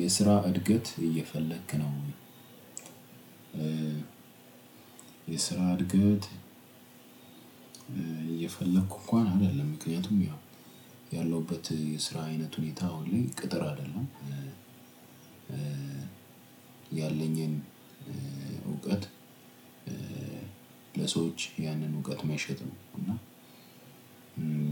የስራ እድገት እየፈለክ ነው? የስራ እድገት እየፈለኩ እንኳን አይደለም ምክንያቱም ያው ያለሁበት የስራ አይነት ሁኔታ አሁን ላይ ቅጥር አይደለም። ያለኝን እውቀት ለሰዎች ያንን እውቀት መሸጥ ነው። እና